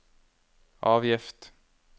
avgift